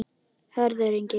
Hörður Ingi.